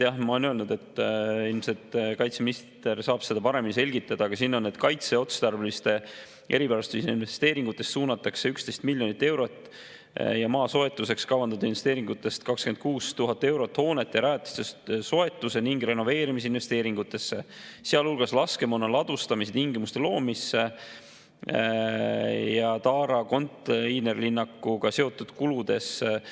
Jah, ma olen öelnud, et ilmselt kaitseminister saab seda paremini selgitada, aga siin on kirjas, et kaitseotstarbelise erivarustuse investeeringutest suunatakse 11 miljonit eurot ja maa soetusteks kavandatud investeeringutest 26 000 eurot hoonete ja rajatiste soetuse ning renoveerimise investeeringutesse, sealhulgas laskemoona ladustamise tingimuste loomisesse ja Taara konteinerlinnakuga seotud kuludesse …